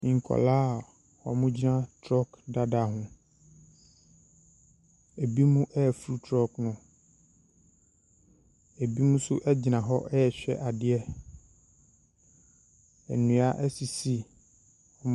Nkwaraa a wɔgyina trɔɔg dada ho. Ebinom reforo trɔɔg no. Ebinom nso gyina hɔ rehwɛ adeɛ. Nnua sisi .